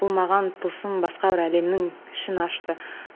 бұл маған тылсым басқа бір әлемнің ішін ашты